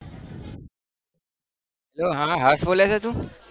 hello હા હર્ષ બોલે છે તું?